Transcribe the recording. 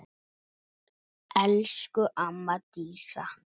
Elsku amma Dísa.